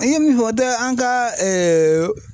An ye min fɔ o don an ka